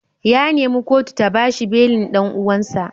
Ya nemi kotu ta ba shi belin dan uwansa.